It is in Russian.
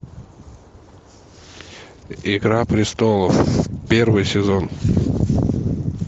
игра престолов первый сезон